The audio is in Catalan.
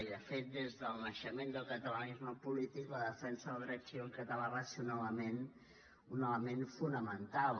i de fet des del naixement del catalanisme polític la defensa del dret civil català va ser un element fonamental